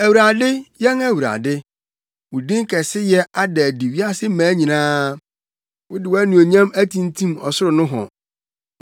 Awurade, yɛn Awurade, wo din kɛseyɛ ada adi wiase mmaa nyinaa. Wode wʼanuonyam atimtim ɔsoro nohɔ,